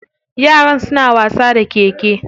Yaran suna wasa da keke.